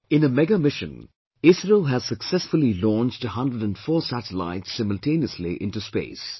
In a mega mission, ISRO has successfully launched 104 satellites simultaneously into space